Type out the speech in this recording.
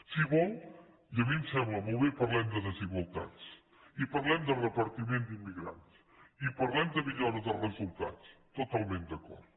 si ho vol i a mi em sembla molt bé parlem de desigualtats i parlem de repartiment d’immigrants i parlem de millora de resultats totalment d’acord